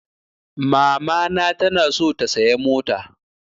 Mamana ta na so ta saya mota